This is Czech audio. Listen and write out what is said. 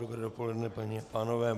Dobré dopoledne, paní a pánové.